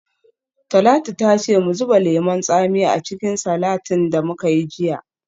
Talatu ta ce mu zuba lemon tsami a cikin salatin da muka yi jiya.